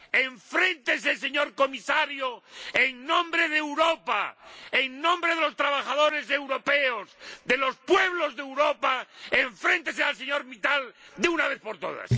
Enfréntese, señor Comisario, en nombre de Europa, en nombre de los trabajadores europeos, de los pueblos de Europa, enfréntese al señor Mittal de una vez por todas.